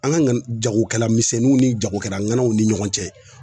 An ka jagokɛlamisɛnninw ni jagokɛlaw ni ɲɔgɔn cɛ